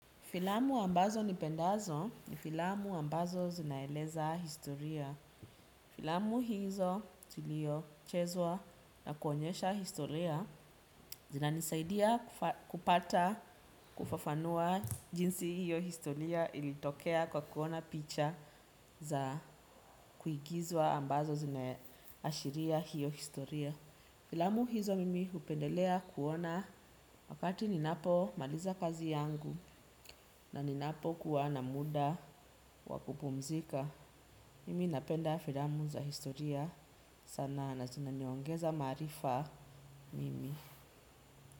Filamu ambazo nipendazo ni filamu ambazo zinaeleza historia. Filamu hizo tulio chezwa na kuonyesha historia. Zinanisaidia kupata kufafanua jinsi hiyo historia ilitokea kwa kuona picha za kuigizwa ambazo zinaashiria hiyo historia. Filamu hizo mimi hupendelea kuona wakati ninapo maliza kazi yangu na ninapo kuwa na muda. Wakupumzika, mimi napenda filamu za historia sana na zinaniongeza maarifa mimi.